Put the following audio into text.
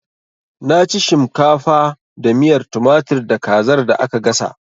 Na ci shimkafa da miyar tumatir da kazar da aka gasa